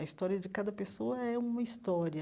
A história de cada pessoa é uma história.